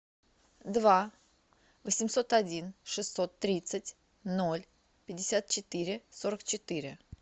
два восемьсот один шестьсот тридцать ноль пятьдесят четыре сорок четыре